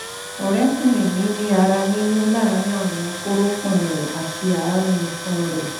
ọ̀rẹ́kùnrin mi ní ara yíyún láàárín àwọn kórópọ̀n rẹ̀ àti àárín itan rẹ̀